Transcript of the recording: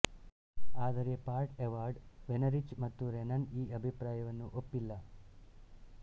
ಆದರೆ Pat Ewald Wenrich ಮತ್ತು Renan ಈ ಅಭಿಪ್ರಾಯವನ್ನು ಒಪ್ಪಿಲ್ಲ